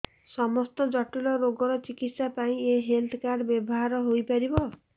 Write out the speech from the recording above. ସମସ୍ତ ଜଟିଳ ରୋଗର ଚିକିତ୍ସା ପାଇଁ ଏହି ହେଲ୍ଥ କାର୍ଡ ବ୍ୟବହାର ହୋଇପାରିବ